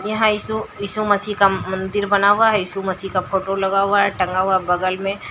यहां यीशु यीशु मसीह का मंदिर बना हुआ है यीशु मसीह का फोटो लगा हुआ है टंगा हुआ बगल में--